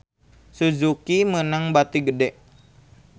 Suzuki meunang bati gede